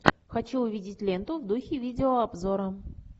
хочу увидеть ленту в духе видеообзора